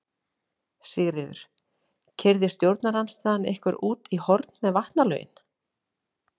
Sigríður: Keyrði stjórnarandstaðan ykkur út í horn með vatnalögin?